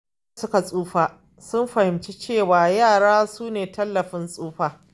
Lokacin da suka tsufa, sun fahimci cewa yara sune tallafin tsufa.